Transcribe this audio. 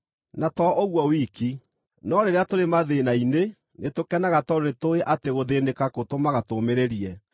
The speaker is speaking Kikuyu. Na to ũguo wiki, no rĩrĩa tũrĩ mathĩĩna-inĩ nĩtũkenaga tondũ nĩtũũĩ atĩ gũthĩĩnĩka gũtũmaga tũũmĩrĩrie;